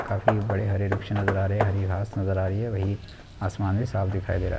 काफी बड़े हरे वृक्ष नज़र आ रहे हैं हरी घास नज़र आ रही हैं वही आसमान भी साफ दिखाई दे रहा हैं।